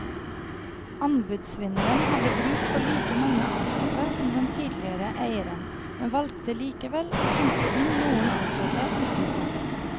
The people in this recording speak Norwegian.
Anbudsvinneren hadde bruk for like mange ansatte som den tidligere eieren, men valgte likevel å hente inn noen ansatte utenfra.